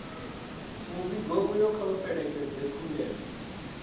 muvhigo uyo kha u fhelekedze khumbelo